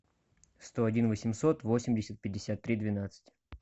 сто один восемьсот восемьдесят пятьдесят три двенадцать